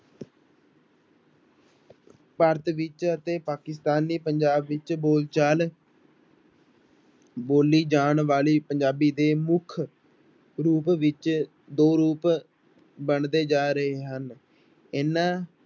ਭਾਰਤ ਵਿੱਚ ਅਤੇ ਪਾਕਿਸਤਾਨੀ ਪੰਜਾਬ ਵਿੱਚ ਬੋਲਚਾਲ ਬੋਲੀ ਜਾਣ ਵਾਲੀ ਪੰਜਾਬੀ ਦੇ ਮੁੱਖ ਰੂਪ ਵਿੱਚ ਦੋ ਰੂਪ ਬਣਦੇ ਜਾ ਰਹੇ ਹਨ ਇਹਨਾਂ